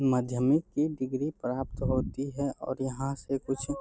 माध्यमिक की डिग्री प्राप्त होती है और यहां से कुछ --